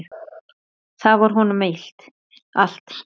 Þau voru honum allt.